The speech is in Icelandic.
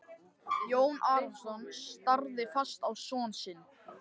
Jón Arason starði fast á son sinn.